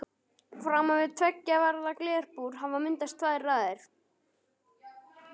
Framan við tveggja varða glerbúr hafa myndast tvær raðir.